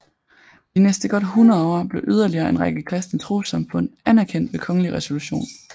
De næste godt hundrede år blev yderligere en række kristne trossamfund anerkendt ved kongelig resolution